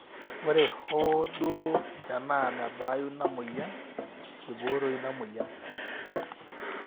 ore hoo duo tenaa mebaayu ina mweyian, eibooroyu ina mweyian